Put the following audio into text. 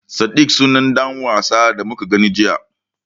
Sadik sunan ɗan wasan da muka gani jiya.